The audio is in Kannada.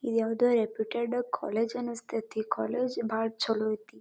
ಇದಾವುದೋ ರೆಪ್ಯೂಟೆಡ್ ಕಾಲೇಜು ಅನಸ್ತತಿ ಕಾಲೇಜು ಬಾಲ ಚಲೋ ಐತಿ